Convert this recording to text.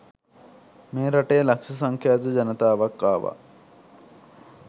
මේ රටේ ලක්ෂ සංඛ්‍යාත ජනතාවක් ආවා.